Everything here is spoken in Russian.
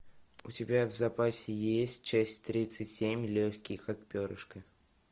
у тебя в запасе есть часть тридцать семь легкий как перышко